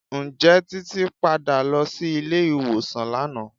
Ǹjẹ́ Títí padà lọ sí ilé ìwòsàn lánàá?